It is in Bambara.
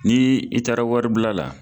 Ni i taara waribila la